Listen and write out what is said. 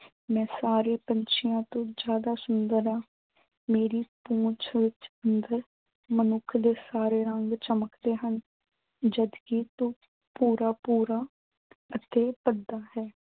ਮੈਂ ਸਾਰੇ ਪੰਛੀਆਂ ਤੋਂ ਜ਼ਿਆਦਾ ਸੁੰਦਰ ਹਾਂ। ਮੇਰੀ ਪੂੰਛ ਵਿੱਚ ਅੰਦਰ ਮਨੁੱਖ ਦੇ ਸਾਰੇ ਰੰਗ ਚਮਕਦੇ ਹਨ। ਜਦ ਕਿ ਤੂੰ ਪੂਰਾ ਪੂਰਾ ਅਤੇ ਅੱਧਾ ਹੈ।